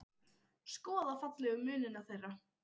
Skoða fallegu munina þeirra.